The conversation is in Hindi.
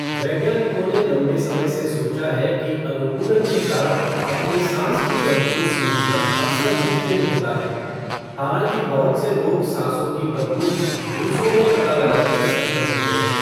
वैज्ञानिकों ने लंबे समय से सोचा है कि अनुकूलन के कारण अपनी साँस की गंध को सूँघना अक्सर मुश्किल होता है, हालाँकि बहुत से लोग सांसों की बदबू दूसरों में पता लगाने में सक्षम होते हैं।